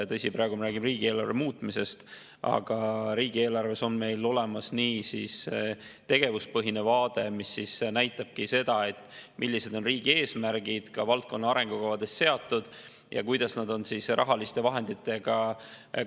Tõsi, praegu me räägime riigieelarve muutmisest, aga riigieelarves on meil olemas tegevuspõhine vaade, mis näitabki seda, millised on riigi eesmärgid ka valdkonna arengukavades seatud ja kuidas need on rahaliste vahenditega kaetud.